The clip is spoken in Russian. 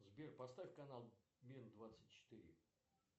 сбер поставь канал мир двадцать четыре